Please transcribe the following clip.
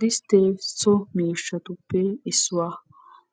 Disttee so miishshatuppe issuwa.